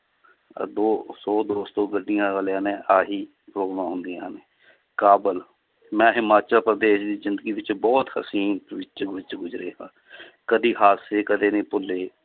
ਅੱਗੋਂ ਸੌ ਦੋ ਸੌ ਗੱਡੀਆਂ ਵਾਲਿਆਂ ਨੇ ਆਹੀ ਪਰੋਬਲਮਾਂ ਹੁੰਦੀਆਂ ਹਨ, ਕਾਬਲ ਮੈਂ ਹਿਮਾਚਲ ਪ੍ਰਦੇਸ਼ ਦੀ ਜ਼ਿੰਦਗੀ ਵਿੱਚ ਬਹੁਤ ਹਸੀਨ ਗੁਜ਼ਰੇ ਹਾਂ ਕਦੇ ਹਾਸੇ ਕਦੇ ਨੀ ਭੁੱਲੇ